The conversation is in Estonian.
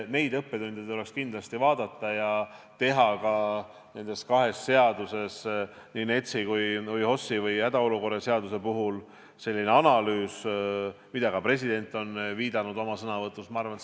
Neid õppetunde tuleks kindlasti vaadata ja teha nende kahe seaduse, nii NETS-i kui ka HOS-i ehk hädaolukorra seaduse analüüs, millele ka president on oma sõnavõtus viidanud.